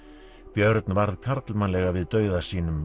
björn varð karlmannlega við dauða sínum